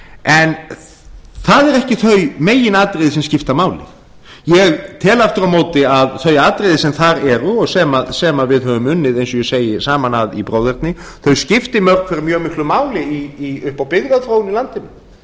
en það eru ekki þau meginatriði sem skipta máli ég tel aftur á móti að þau atriði sem þar eru og sem við höfum unnið eins og ég segi saman að í bróðerni skipti mörg hver mjög miklu máli upp á